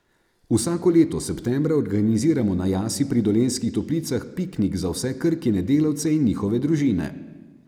Vsako leto septembra organiziramo na Jasi pri Dolenjskih toplicah piknik za vse Krkine delavce in njihove družine.